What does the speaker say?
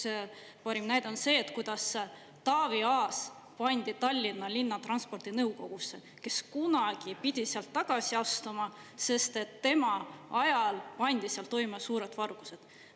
Üks parim näide on see, kuidas Taavi Aas pandi Tallinna Linnatranspordi nõukogusse, kes kunagi pidi sealt tagasi astuma, sest tema ajal pandi seal toime suured vargused.